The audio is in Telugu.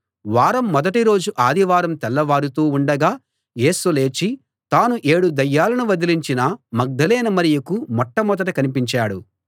వారం మొదటి రోజు ఆదివారం తెల్లవారుతూ ఉండగా యేసు లేచి తాను ఏడు దయ్యాలను వదిలించిన మగ్దలేనే మరియకు మొట్టమొదట కనిపించాడు